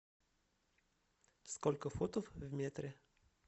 сколько футов в метре